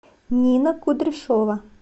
нина кудряшова